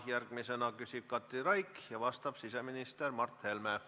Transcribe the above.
Järgmisena küsib Katri Raik ja vastab siseminister Mart Helme.